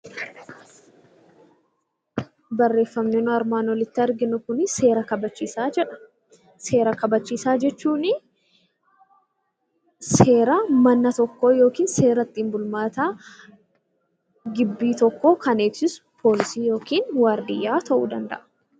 Barreeffamni nuyi armaan olitti arginu Kun, seera kabachiisaa jedha. Seera kabachiisaa jechuun seera manaa yookiin seera ittiin bulmaata gibbii tokkoo kan eegsisu poolisii yookaan waardiyyaa ta'uu danda'a.